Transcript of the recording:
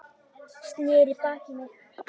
Sneri baki í mig.